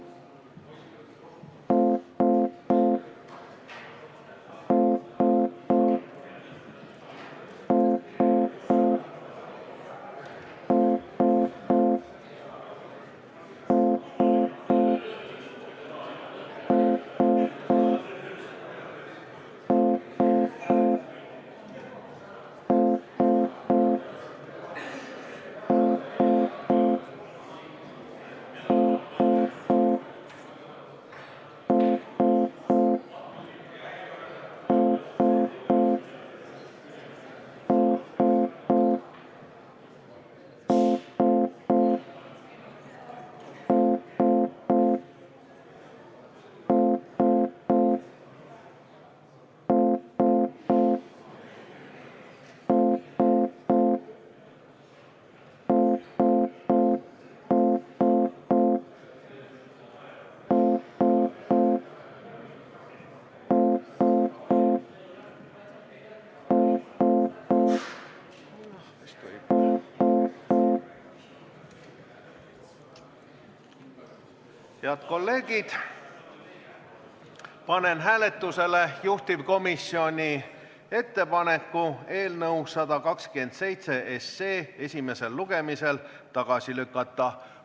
Head kolleegid, panen hääletusele juhtivkomisjoni ettepaneku eelnõu 127 esimesel lugemisel tagasi lükata.